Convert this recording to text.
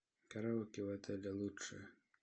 караоке в отеле лучшее